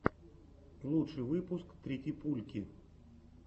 лучший выпуск тритипульки